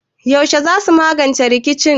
Yaushe za mu magance rikicin?